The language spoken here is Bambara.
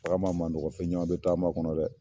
Taama man nɔgɔ fɛn caman bɛ taama kɔnɔ dɛ!